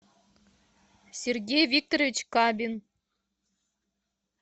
сергей викторович кабин